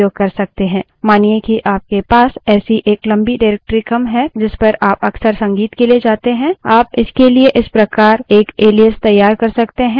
मानिए कि आपके पास ऐसी एक लम्बी directory क्रम है जिस पर आप अक्सर संगीत के लिए जाते हैं आप इसके लिए इस प्रकार एक एलाइस तैयार कर सकते हैं